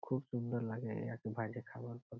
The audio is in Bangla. খুব সুন্দর লাগে আরকি বাইরের খাবার --